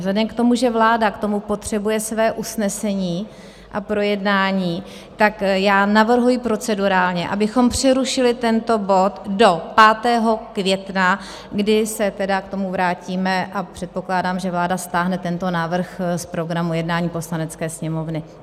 Vzhledem k tomu, že vláda k tomu potřebuje své usnesení a projednání, tak já navrhuji procedurálně, abychom přerušili tento bod do 5. května, kdy se tedy k tomu vrátíme, a předpokládám, že vláda stáhne tento návrh z programu jednání Poslanecké sněmovny.